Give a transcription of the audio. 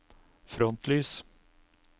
frontlys